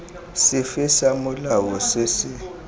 sefe sa molao se se